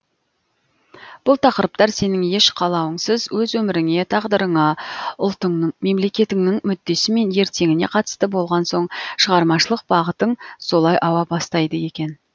бұл тақырыптар сенің еш қалауыңсыз өз өміріңе тағдырыңа ұлтыңның мемлекетіңнің мүддесі мен ертеңіне қатысты болған соң шығармашылық бағытың солай ауа бастайды екен